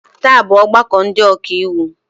Taa bụ ọgbakọ ndị ọka iwu.